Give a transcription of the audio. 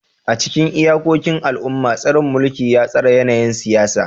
A cikin iyakokin al'umma, tsarin mulki ya tsara yanayin siyasa.